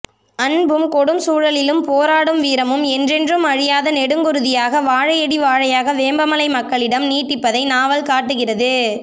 அன்பும் கொடும் சூழலிலும் போராடும் வீரமும் என்றென்றும் அழியாத நெடுங்குருதியாக வாழையடிவாழையாக வேம்பலை மக்களிடம் நீடிப்பதை நாவல் காட்டுகிறது